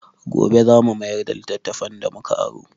Gobe za mu mayar da littattafan da mu ka aro.